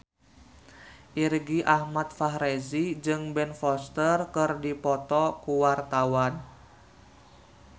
Irgi Ahmad Fahrezi jeung Ben Foster keur dipoto ku wartawan